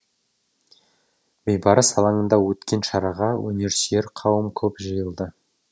бейбарыс алаңында өткен шараға өнерсүйер қауым көп жиылды